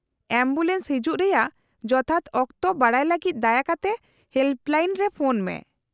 Ambulance ᱦᱤᱡᱩᱜ ᱨᱮᱭᱟᱜ ᱡᱚᱛᱷᱟᱛ ᱚᱠᱛᱚ ᱵᱟᱰᱟᱭ ᱞᱟᱹᱜᱤᱫ ᱫᱟᱭᱟ ᱠᱟᱛᱮ ᱦᱮᱞᱯᱞᱟᱭᱤᱱ ᱨᱮ ᱯᱷᱚᱱ ᱢᱮ ᱾